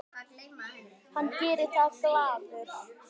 Og hann gerir það glaður.